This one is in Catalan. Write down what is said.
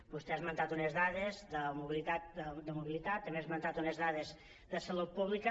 vostè ha esmentat unes dades de mobilitat també ha esmentat unes dades de salut pública